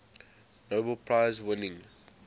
nobel prize winning